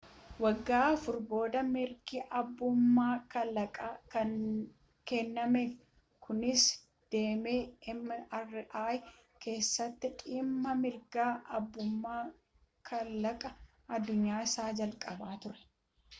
waggaa afur booda mirgi abbummaa kalaqaa kennameef kunis damee mri keessatti dhimma mirga abbummaa kalaqaaa addunyaa isa jalqabaa ture